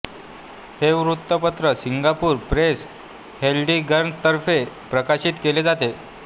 हे वृत्तपत्र Singapore press होल्डिंग्जतर्फे प्रकाशित केले जाते